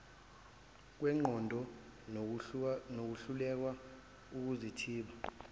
kwengqondo nokulahlekelwa ukuzithiba